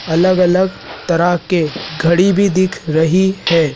अलग अलग तरह के घड़ी भी दिख रही है।